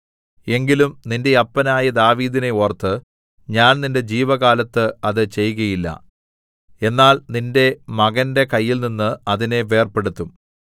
എങ്കിലും നിന്റെ അപ്പനായ ദാവീദിനെ ഓർത്ത് ഞാൻ നിന്റെ ജീവകാലത്ത് അത് ചെയ്കയില്ല എന്നാൽ നിന്റെ മകന്റെ കയ്യിൽനിന്ന് അതിനെ വേർപെടുത്തും